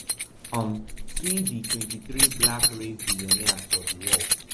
um see di twenty-three black race billionaires for di world